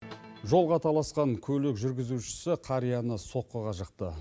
жолға таласқан көлік жүргізушісі қарияны соққыға жықты